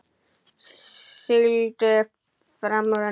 Sigldi fram úr henni.